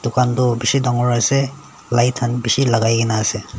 dukaan toh bishi dangor ase light khan bishi lagai gina ase.